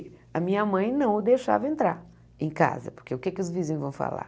A minha mãe não o deixava entrar em casa, porque o que que os vizinhos vão falar?